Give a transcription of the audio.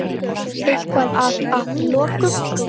Eitthvað að að lokum?